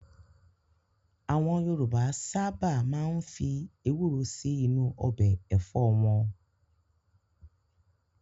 Àwọn Yorùbá sáábà máa ń fi Ewúró sì inú ọbẹ̀ Ẹ̀fọ́ wọn